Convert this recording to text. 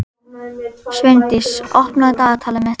Sveindís, opnaðu dagatalið mitt.